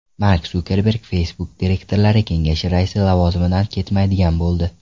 Mark Sukerberg Facebook direktorlar kengashi raisi lavozimidan ketmaydigan bo‘ldi.